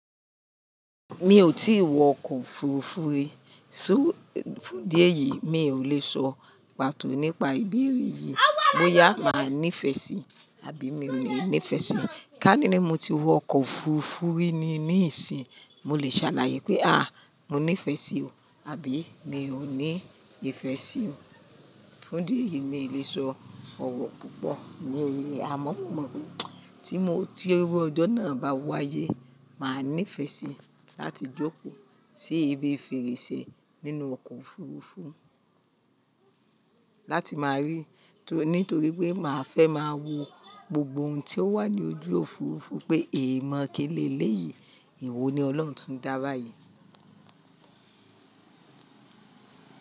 Mi ò tí wọ ọkọ̀ òfurufú rí, só-- fún díẹ̀ yìí mi ò le sọ pàtó nípa ìbéèrè yìí bóyá màá ní ìfẹ́ sí i àbí mi ò ní ìfẹ́ sí i. Ká níní mo ti wọ ọkọ̀ òfurufú rí ní, ní ìsìn, mo lè ṣàlàyé pé àá mo ní ìfẹ́ sí i àbí mi ò ní ìfẹ́ sí i. Fún idi eyìí mi ò le sọ ọ̀wọ̀ púpọ̀ ní èrè amọ́, mo mọ̀ pé tí mo ti rí ọjọ́ náà bá wáyé, màá ní ìfẹ́ sí i láti jókòó sí ibi fèrèsé nínú ọkọ̀ òfurufú láti máa rí, nítorí pé màá fẹ́ máa wo gbogbo ohun tí ó wà ní ojú òfurufú pé èèmọ̀ kíni léyìí, ìwo ni Ọlọ́run tún dá báyìí.